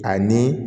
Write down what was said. Ani